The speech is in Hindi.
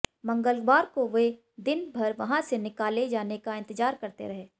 मंगलवार को वे दिन भर वहां से निकाले जाने का इंतजार करते रहे